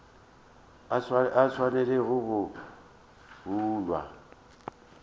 a sa swanelago go hlwa